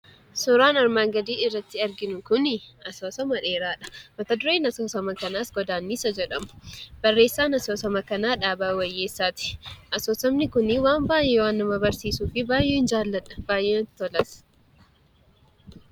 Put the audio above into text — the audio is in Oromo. Suuraan armaan gadiitti irratti arginu kuni asoosama dheeraadha. Mata dureen asoosama kanaas 'Godaannisa' jedhama. Barreessaan asoosama kanaa Dhaabaa Wayyeessaati. Asoosamni kun waan baay'ee waan na barsiisuuf baay'een jaalladha; baay'ee natti tolas.